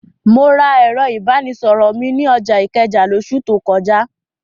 Mo ra ẹ̀rọ ìbánisọ̀rọ̀ mi ní ọjà Ìkẹjà lóṣù tó kọjá.